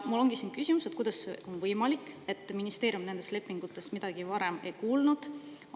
Mul ongi küsimus, et kuidas on võimalik, et ministeerium nendest lepingutest midagi varem ei olnud kuulnud?